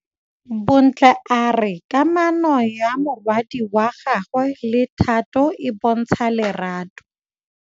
Bontle a re kamanô ya morwadi wa gagwe le Thato e bontsha lerato.